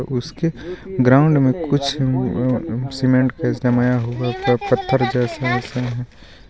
उसके ग्राउंड में कुछ सिम अ सीमेंट का जमाया हुआ पत्थर जैसा है.